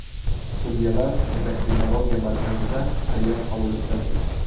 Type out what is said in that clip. Sudyalar endokrinologiya markazida sayyor qabul o‘tkazdi.